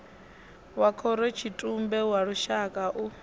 wa khorotshitumbe wa lushaka u